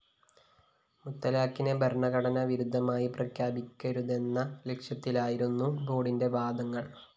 മുത്തലാഖിനെ ഭരണഘടനാ വിരുദ്ധമായി പ്രഖ്യാപിക്കരുതെന്ന ലക്ഷ്യത്തിലായിരുന്നു ബോര്‍ഡിന്റെ വാദങ്ങള്‍